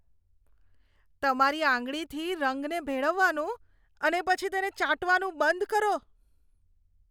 તમારી આંગળીથી રંગને ભેળવવાનું અને પછી તેને ચાટવાનું બંધ કરો.